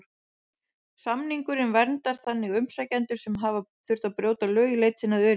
Samningurinn verndar þannig umsækjendur sem hafa þurft að brjóta lög í leit sinni að öryggi.